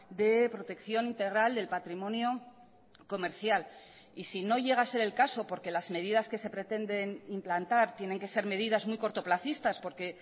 de protección integral del patrimonio comercial y si no llega a ser el caso porque las medidas que se pretenden implantar tienen que ser medidas muy cortoplacistas porque